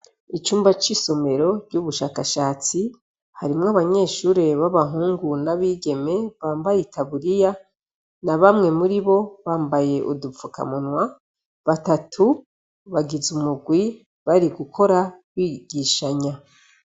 Icumba c'isomero ry'ubushakashatsi, harimwo abanyeshure b'abahungu n'abigeme bambaye itaburiya na bamwe muribo bambaye udupfukamunwa, batatu bagize umugwi, bari gukora bigishanya.